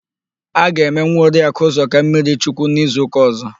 A ga-eme nwa Oriakụ Ụzọka mmirichukwu n'izuụ́kà ọ̀zọ́.